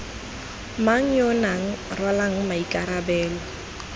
mang yo nang rwalang maikarabelo